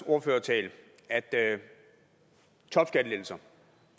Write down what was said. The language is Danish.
ordførertalen topskattelettelser